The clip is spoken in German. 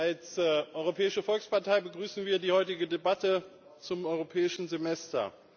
Als Europäische Volkspartei begrüßen wir die heutige Debatte zum Europäischen Semester.